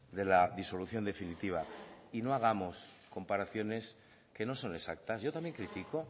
de la disolución definitiva y no hagamos comparaciones que no son exactas yo también critico